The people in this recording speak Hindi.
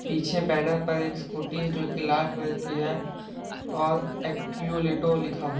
पीछे बैनर पर एक स्कूटी जो की लाल कलर की है ओर अकीउलेटों लिखा हुआ है।